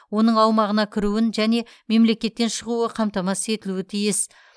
оның аумағына кіруін және мемлекеттен шығуы қамтамасыз етілуге тиіс